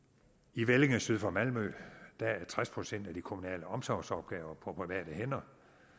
i vellinge syd for malmø er tres procent af de kommunale omsorgsopgaver på private hænder